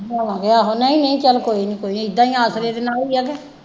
ਆਹੋ ਆਹੋ ਚੱਲ ਕੋਈ ਨਹੀਂ ਕੋਈ ਨਹੀਂ ਏਦਾਂ ਹੀ ਆਸਰੇ ਦੇ ਨਾਲ ਹੀ ਆ ਕੇ।